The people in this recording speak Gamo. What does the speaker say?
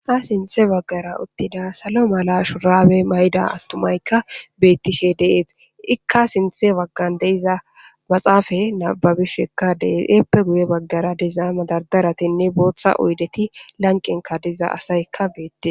Ha sinthe baggara uttida salo mala shuraabe mayda attumaykka beettishe deees ikka sinthe baggan deiza maxaafa nababishekka deese eppe guye baggara diza madardaratinne booththa uydeti lanqen kadiza asaykka beette.